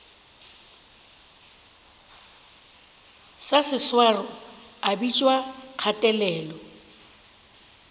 sa seswaro a bitšwa kgatelelo